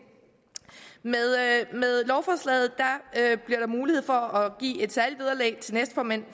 med lovforslaget bliver der mulighed for at give et særligt vederlag til næstformænd